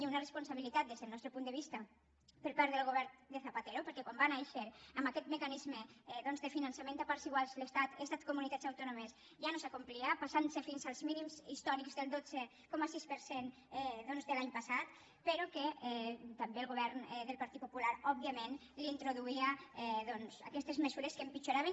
i una responsabilitat des del nostre punt de vista per part del govern de zapatero perquè quan va nàixer amb aquest mecanisme doncs de finançament a parts iguals estat comunitats autònomes ja no es complia passant se fins als mínims històrics del dotze coma sis per cent doncs de l’any passat però que també el govern del partit popular òbviament li introduïa aquestes mesures que empitjoraven